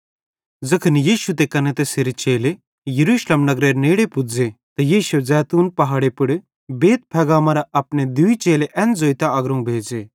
ज़ैखन यीशु ते कने तैसेरे चेले यरूशलेम नगरेरे नेड़े पुज़े त यीशुए ज़ैतून पहाड़े पुड़ बैतफगे मरां अपने दूई चेले एन ज़ोइतां अग्रोवं भेज़े